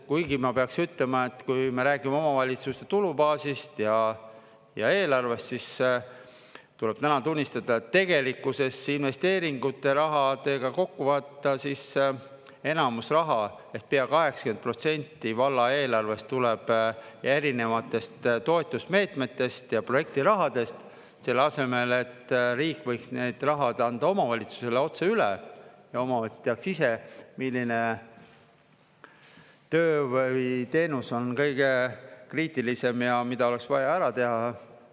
Kuigi ma peaks ütlema, et kui me räägime omavalitsuste tulubaasist ja eelarvest, siis tuleb täna tunnistada, et tegelikkuses investeeringute rahad kokku võtta, siis enamus raha – ehk pea 80% – valla eelarvest tuleb erinevatest toetusmeetmetest ja projektirahadest, selle asemel et riik võiks need rahad anda omavalitsusele otse üle ja omavalitsused teaks ise, milline töö või teenus on kõige kriitilisem ja mida oleks vaja ära teha.